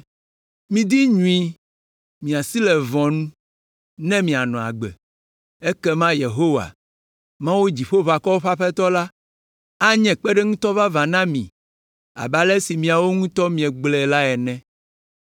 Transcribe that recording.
Midi nyui, miasi le vɔ̃ nu ne mianɔ agbe! Ekema Yehowa, Mawu Dziƒoʋakɔwo ƒe Aƒetɔ la, anye kpeɖeŋutɔ vavã na mi abe ale si miawo ŋutɔ miegblɔ la ene.